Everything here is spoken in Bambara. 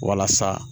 Walasa